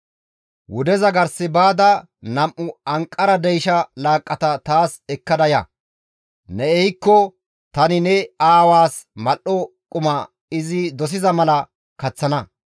Wudeza gars baada nam7u anqara deysha laaqqata taas ekkada ya; ne ehikko tani ne aawaas mal7o quma izi dosiza mala kaththana.